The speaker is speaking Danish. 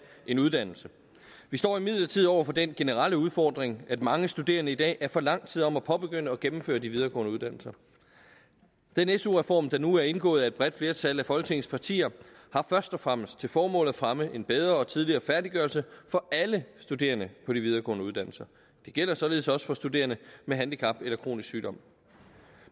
en uddannelse vi står imidlertid over for den generelle udfordring at mange studerende i dag er for lang tid om at påbegynde og gennemføre de videregående uddannelser den su reform der nu er indgået af et bredt flertal af folketingets partier har først og fremmest til formål at fremme en bedre og tidligere færdiggørelse for alle studerende på de videregående uddannelser det gælder således også for studerende med handicap eller kronisk sygdom